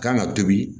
Kan ka tobi